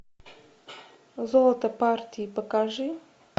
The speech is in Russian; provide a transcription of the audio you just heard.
золото партии покажи